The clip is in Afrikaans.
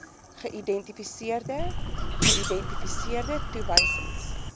geïdentifiseerde geïdentifiseerde toewysings